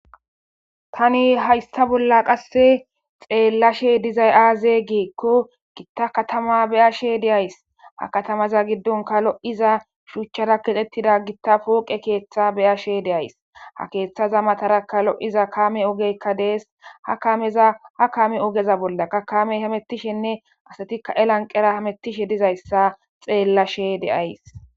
tani haysta bolla qasse xeellashe dizay aaze geekko gitta katama beyashe deays ha katamaza giddonka lo7iza shuuchchara kexettida gitta pooqe keeththa beyashe deays ha keeththaza matarakka lo7iza kame ogekka dees ha kaameza ha kaame ogeza bollaka kamey hamettishenne asatikka elanqera hamettishe dizayssa xeellashe deays